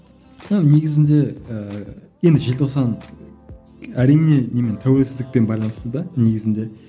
і негізінде ііі енді желтоқсан әрине немен тәуелсіздікпен байланысты да негізінде